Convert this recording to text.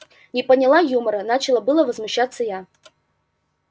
не поняла юмора начала было возмущаться я